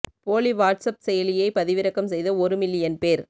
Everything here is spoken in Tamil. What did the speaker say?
போலி வாட்ஸ் ஆப் செயலியை பதிவிறக்கம் செய்த ஒரு மில்லியன் பேர்